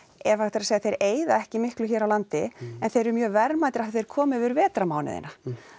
ef hægt er að segja þeir eyða ekki miklu hér á landi en þeir eru mjög verðmætir af þeir koma yfir vetrarmánuðina